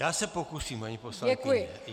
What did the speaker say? Já se pokusím, paní poslankyně.